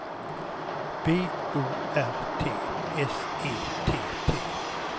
B O R T S E T T